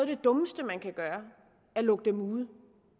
det dummeste man kan gøre at lukke dem ude